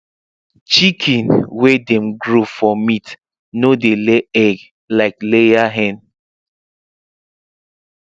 chicken wey dem grow for meat no dey lay egg like layer hen